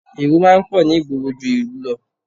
Èrò máa ń pọ̀ ní ìgboro ju ìlú lọ